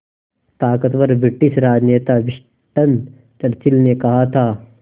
ताक़तवर ब्रिटिश राजनेता Winston Churchill ने कहा था